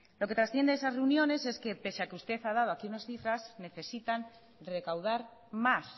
lo que trasciende esas reuniones es que pese a que usted ha dado aquí unas cifras necesitan recaudar más